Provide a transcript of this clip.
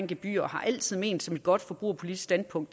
gebyrer og altid har ment som et godt forbrugerpolitisk standpunkt